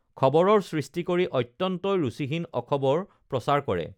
খবৰৰ সৃষ্টি কৰি অত্যন্তই ৰুচীহীন অখবৰ প্ৰচাৰ কৰে